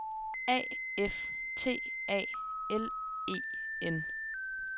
A F T A L E N